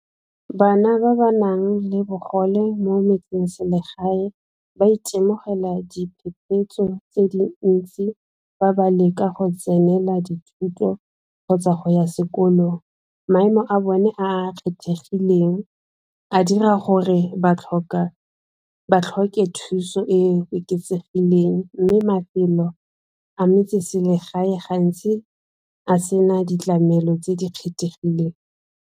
Bana ba ba nang le bogole mo metsengselegae ba itemogela diphephetso tse le ntsi fa ba leka go tsenela dithuto kgotsa go ya sekolong maemo a bone a a kgethegileng a dira gore ba tlhoke thuso e e oketsegileng mme mafelo a metse-selegae gantsi a se na ditlamelo tse di kgethegileng.